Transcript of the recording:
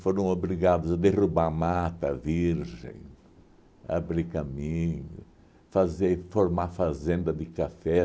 Foram obrigados a derrubar mata virgem, abrir caminho, fazer formar fazenda de café.